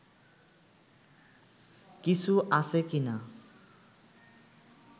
কিছু আছে কি না